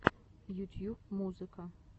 ютьюб музыка